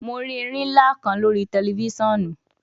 Mo ri erin nla kan lori tẹlifisiọnu